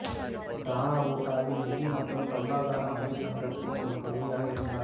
ரானா பூட்டோவின் நிதி மற்றும் பொருளாதார அமைச்சகத்தின் ஒரு பகுதியாக இருந்தார்